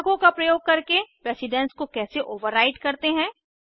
कोष्ठकों का प्रयोग करके प्रेसिडन्स को कैसे ओवरराइड करते हैं